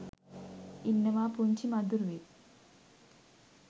ඉන්නවා පුංචි මදුරුවෙක්